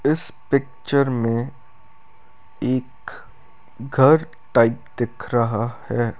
इस पिक्चर में एक घर टाइप दिख रहा है।